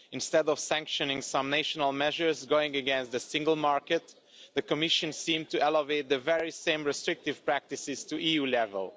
Instead of sanctioning some national measures going against the single market, the Commission seemed to elevate the very same restrictive practices to EU level.